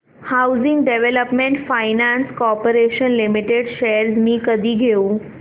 housing development finance corporation limited shares मी कधी घेऊ